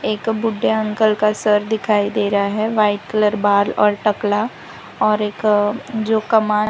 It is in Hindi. एक बुड्ढे अंकल का सर दिखाई दे रहा है वाइट कलर बाल और टकला और एक अह जो कमाए --